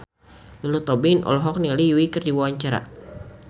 Lulu Tobing olohok ningali Yui keur diwawancara